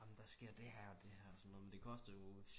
Amen der sker det her og det her men det kostede jo